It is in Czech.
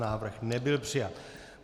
Návrh nebyl přijat.